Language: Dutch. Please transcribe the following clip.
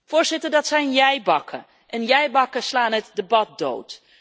Voorzitter, dat zijn jij bakken en jij bakken slaan het debat dood.